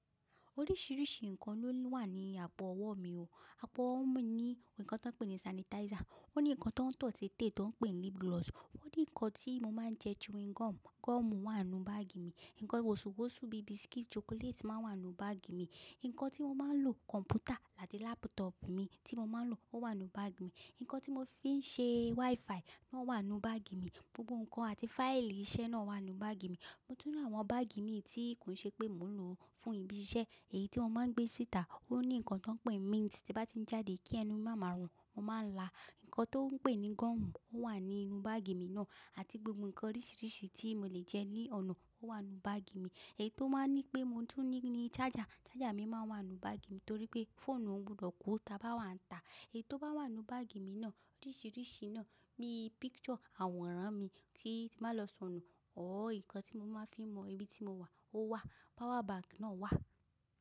Oríṣìíríṣìí ǹkan ló wà ní àpò ọwọ́ mi o. Àpò ọwọ́ mi ní ǹkan tí wọ́n ń pè ní sanitizer, ó ní ǹkan tó ń tọ si ètè tó ń pè ní lip gloss, ó ní ǹkan tí mo máa ń jẹ chewing gum, gum wà nínú báàgì mi. Ǹkan ìwọ̀sùwòṣù bí biscuit, chocolate máa ń wà nínú báàgì mi. Ǹkan tí mo máa ń lo compúter láti laptop mi tí mo máa ń lò ó wà nínú báàgì mi. Ǹkan tí mo fi ń ṣe WiFi o wà nú báàgì mi. Gbogbo ǹkan àti fáìlì iṣẹ́ náà wà nú báàgì mi. Mo tún lọ àwọn báàgì mii tí kò ṣe pé mo lò ó fún ibi iṣẹ́. Èyí tí wọ́n máa ń gbé síta ó ní ǹkan tí wọ́n ń pè ní mint, tí a bá ti jáde kí ẹnu máa ma rùn, mo máa ń la. Ǹkan tó ń pè ní gum ó wà nínú báàgì mi náà àti gbogbo ǹkan oríṣìíríṣìí tí mo lè jẹ ní ọ̀nà ó wà nínú báàgì mi. Èyí tó máa ń ní pé mo tún ní ní charger, charger mi máa ń wà nínú báàgì mi torí pé fóònù mi o gbọdọ̀ kú táa bá wà ń tà. Èyí tó bá wà nínú báàgì mi náà oríṣìíríṣìí náà bí picture àwòrán mi tí màá lọ sọnù oóòó ǹkan tí mo máa ń fi mọ ibi tí mo wà ó wà. Power bank náà wà.